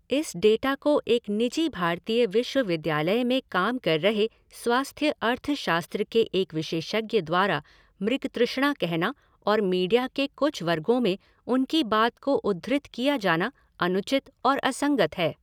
इस डेटा को एक निजी भारतीय विश्वविद्यालय में काम कर रहे स्वास्थ्य अर्थशास्त्र के एक विशेषज्ञ द्वारा मृगतृष्णा कहना और मीडिया के कुछ वर्गों में उनकी बात को उद्धृत किया जाना अनुचित और असंगत है।